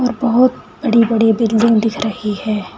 बहुत बड़ी बड़ी बिल्डिंग दिख रही है।